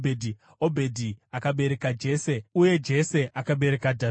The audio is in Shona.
Obhedhi akabereka Jese, uye Jese akabereka Dhavhidhi.